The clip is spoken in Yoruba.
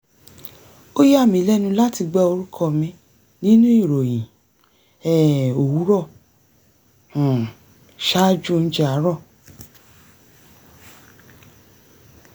ó yàmí lẹ́nu láti gbọ́ orúkọ mi nínú ìròyìn um òwúrọ̀ um ṣaájú oúnjẹ àárọ̀